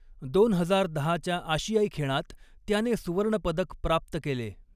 दोन हजार दहाच्या आशियाई खेळांत़ त्याने सुवर्णपदक प्राप्त केले.